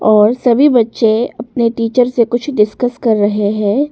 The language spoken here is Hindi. और सभी बच्चे अपने टीचर से कुछ डिस्कस कर रहे हैं।